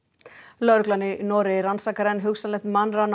lögreglan í Noregi rannsakar enn hugsanlegt mannrán á